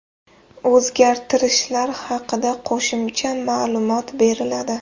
O‘zgartirishlar haqida qo‘shimcha ma’lumot beriladi.